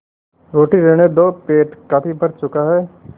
रोटी रहने दो पेट काफी भर चुका है